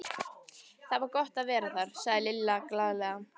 Það er svo gott að vera þar, sagði Lilla glaðlega.